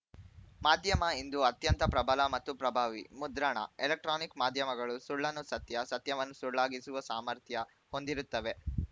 ಮಾಧ್ಯಮ ಇಂದು ಅತ್ಯಂತ ಪ್ರಬಲ ಮತ್ತು ಪ್ರಭಾವಿ ಮುದ್ರಣ ಎಲೆಕ್ಟ್ರಾನಿಕ್‌ ಮಾಧ್ಯಮಗಳು ಸುಳ್ಳನ್ನು ಸತ್ಯ ಸತ್ಯವನ್ನು ಸುಳ್ಳಾಗಿಸುವ ಸಾಮರ್ಥ್ಯ ಹೊಂದಿರುತ್ತವೆ